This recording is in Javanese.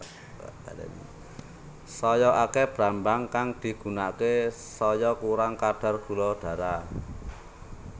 Saya akéh brambang kang digunakaké saya kurang kadar gula darah